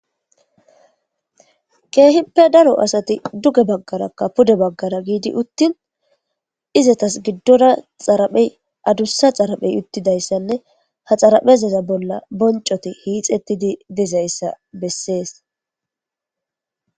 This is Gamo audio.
keehippe daro asati duge baggarakka pude baggara giidi uttin izatas giddona xaraphey adussa xaraphey uttidayssanne ha xaraphezaza bolla boncoti hiixettidi dizayssa bessees